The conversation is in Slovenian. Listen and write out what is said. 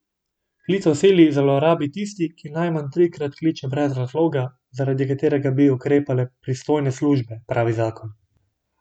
Klic v sili zlorabi tisti, ki najmanj trikrat kliče brez razloga, zaradi katerega bi ukrepale pristojne službe, pravi zakon.